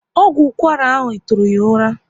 Ọgwụ ụkwara ahụ tụrụ ya ụra